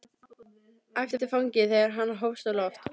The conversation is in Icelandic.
æpti fanginn þegar hann hófst á loft.